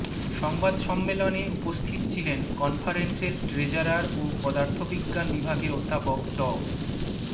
সংবাদ সম্মেলনে উপস্থিত ছিলেন কনফারেন্সের ট্রেজারার ও পদার্থবিজ্ঞান বিভাগের অধ্যাপক ড